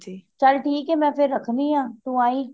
ਚੱਲ ਠੀਕ ਐ ਮੈਂ ਫੇਰ ਰੱਖਨੀ ਆ ਤੂੰ ਆਈ